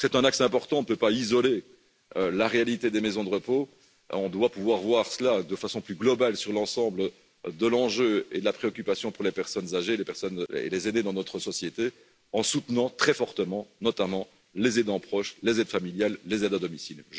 Je crois que c'est un axe important, on ne peut pas isoler la réalité des maisons de repos, on doit pouvoir voir cela de façon plus globale sur l'ensemble de l'enjeu et de la préoccupation pour les personnes âgées et les aînés dans notre société en soutenant très fortement, notamment les aidants proches, les aides familiales, les aides à domicile.